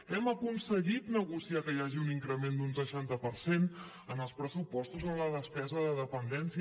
hem aconseguit negociar que hi hagi un increment d’un seixanta per cent en els pressupostos en la despesa de dependència